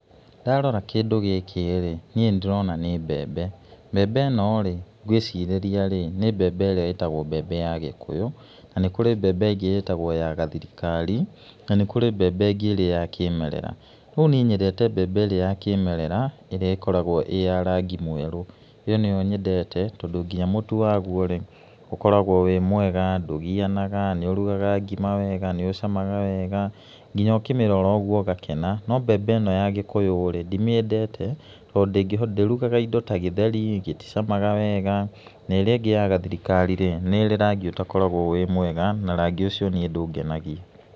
Ndarora kĩndũ gĩkĩ rĩ, niĩ nĩ ndĩrona nĩ mbembe, mbembe ĩno rĩ ngĩcirĩria nĩ mbembe ĩrĩa ĩtagwo mbembe ya gĩkũyũ, na nĩ kũrĩ mbembe ĩngĩ ĩtagwo ya gathirikari, na nĩ kũrĩ mbembe ĩrĩa ya kĩmerera. No niĩ nyendete mbembe ĩrĩa ya kĩmerera ĩrĩa ĩkoragwo ĩ ya rangi mwerũ, ĩyo nĩyo nyendete tondũ nginya mũtu wayo rĩ ũkoragwo wĩ mwega, ndũgianaga, nĩ ũrugaga ngima wega, nĩ ũcamaga wega, nginya ũkĩmĩrira ũguo ũgakena, no mbembe ĩno ya gĩkũyũ rĩ, ndimĩendete tondũ ndĩrugaga indo ta gĩtheri, gĩticamaga wega, na ĩrĩa ĩngĩ ya gathiriakari rĩ nĩrĩ rangi ũtakoragwo wĩ mwega na rangi ũcio niĩ ndũngenagia.